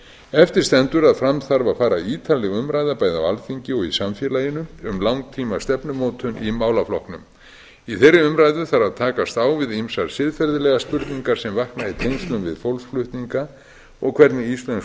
eftir stendur að fram þarf að fara ítarleg umræða bæði á alþingi og í samfélaginu um langtímastefnumótun í málaflokknum í þeirri umræðu þarf að takast á við ýmsar siðferðilegar spurningar sem vakna í tengslum við fólksflutninga og hvernig íslensk